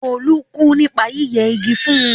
Tolú kú nípa yíyẹ igi fún.